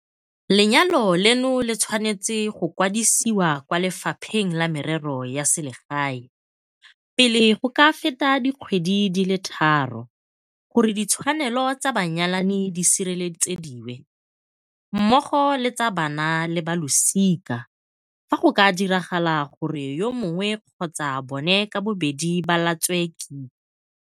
Lenyalo leno le tshwanetswe go kwadisiwa kwa Le fapheng la Merero ya Selegae pele go ka feta dikgwedi di le tharo gore ditshwanelo tsa banyalani di sireletsediwe, mmogo le tsa bana le ba losika fa go ka diragala gore yo mongwe kgotsa bona ka bobedi ba latswe kika.